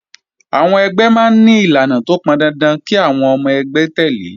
Àwọn ẹgbẹ́ máa ń ní ìlànà tó pọn dandan kí àwọn ọmọ ẹgbẹ́ tẹ̀lé